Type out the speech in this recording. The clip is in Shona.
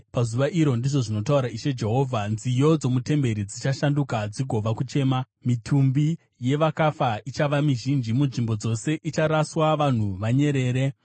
“Pazuva iro,” ndizvo zvinotaura Ishe Jehovha, “nziyo dzomutemberi dzichashanduka dzigova kuchema. Mitumbi yevakafa ichava mizhinji. Munzvimbo dzose icharaswa vanhu vanyerere.”